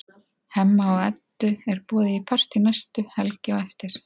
Hemma og Eddu er boðið í partí næstu helgi á eftir.